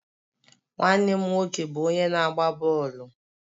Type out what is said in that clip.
Nwanne m nwoke bụ onye na-agba bọọlụ.